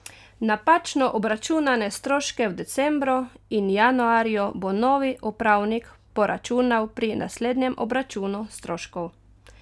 Napačno obračunane stroške v decembru in januarju bo novi upravnik poračunal pri naslednjem obračunu stroškov.